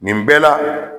Nin bɛɛ la